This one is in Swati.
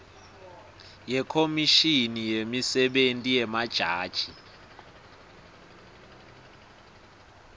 yekhomishini yemisebenti yemajaji